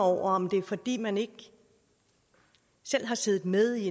over om det er fordi man ikke selv har siddet med i